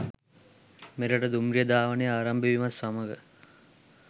මෙරට දුම්රිය ධාවනය ආරම්භ වීමත් සමග